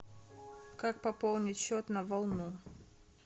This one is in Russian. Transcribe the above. как пополнить счет на волну